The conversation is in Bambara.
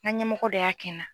N ka ɲɛmɔgɔ dɔ y'a kɛ n na.